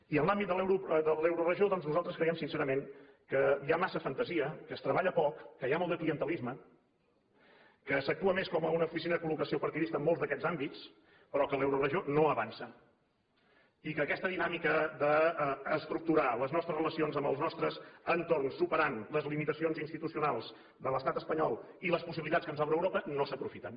i en l’àmbit de l’euroregió doncs nosaltres creiem sincerament que hi ha massa fantasia que es treballa poc que hi ha molt de clientelisme que s’actua més com una oficina de col·locació partidista en molts d’aquests àmbits però que l’euroregió no avança i que aquesta dinàmica d’estructurar les nostres relacions amb els nostres entorns superant les limitacions institucionals de l’estat espanyol i les possibilitats que ens obre europa no s’aprofiten